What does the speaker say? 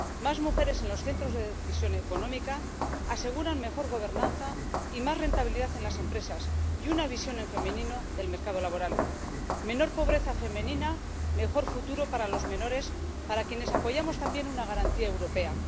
Más mujeres en los centros de decisión económica aseguran una mejor gobernanza, más rentabilidad en las empresas, una visión en femenino del mercado laboral, menor pobreza femenina y un mejor futuro para los menores, para quienes apoyamos también una garantía europea.